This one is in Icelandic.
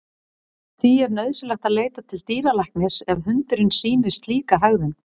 Því er nauðsynlegt að leita til dýralæknis ef hundurinn sýnir slíka hegðun.